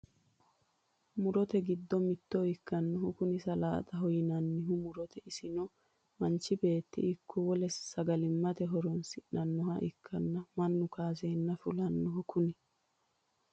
murote giddo mitte ikkinohu kuni salaaxaho yinanni muroooti isino manchi beettino ikko wole saaga sagalimmate horonsidhanoha ikkanna, mannu kaaseenna fulinoho kuni.